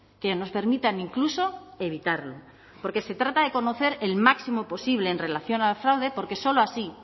que nos permitan incluso evitarlo porque se trata de conocer el máximo posible en relación al fraude porque solo así